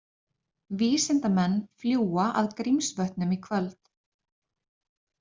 Vísindamenn fljúga að Grímsvötnum í kvöld